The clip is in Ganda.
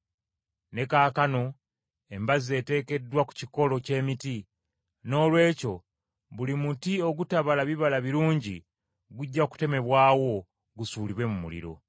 Ne kaakano embazzi eteekeddwa ku kikolo ky’emiti. Noolwekyo buli muti ogutabala bibala birungi gujja kutemebwawo gusuulibwe mu muliro.”